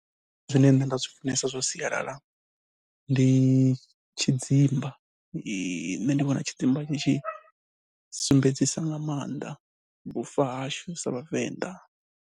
Zwine nṋe nda zwi funesa zwa sialala ndi tshidzimba, nṋe ndi vhona tshidzimba tshi tshi sumbedzisa nga maanḓa vhufa hashu sa Vhavenḓa.